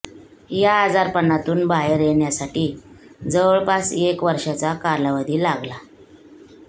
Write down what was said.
या आजारपणातून बाहेर येण्यासाठी जवळपास एक वर्षाचा कालावधी लागला